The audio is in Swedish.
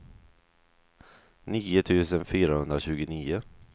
nio tusen fyrahundratjugonio